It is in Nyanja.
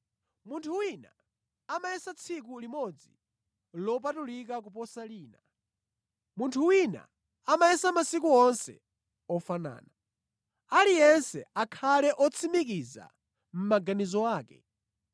Munthu wina amayesa tsiku limodzi lopatulika kuposa lina. Munthu wina amayesa masiku onse ofanana. Aliyense akhale otsimikiza mʼmaganizo ake.